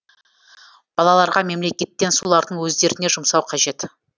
балаларға мемлекеттен солардың өздеріне жұмсау қажет